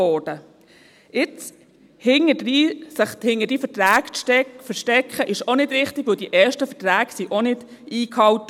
Sich jetzt, im Nachhinein, hinter diesen Verträgen zu verstecken, ist auch nicht richtig, denn die ersten Verträge wurden auch nicht eingehalten.